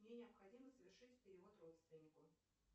мне необходимо совершить перевод родственнику